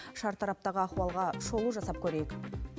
шартараптағы ахуалға шолу жасап көрейік